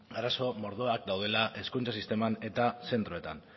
arazo mordoak daudela hezkuntza sisteman eta zentroetan